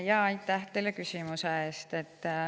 Aitäh teile küsimuse eest!